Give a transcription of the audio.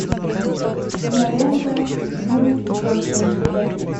кинолента ю пятьсот семьдесят один